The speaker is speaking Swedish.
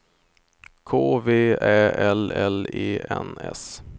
K V Ä L L E N S